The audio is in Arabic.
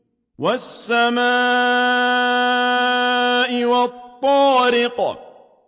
وَالسَّمَاءِ وَالطَّارِقِ